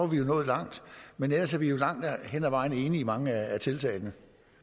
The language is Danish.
vi nået langt men ellers er vi jo langt hen ad vejen enige i mange af tiltagene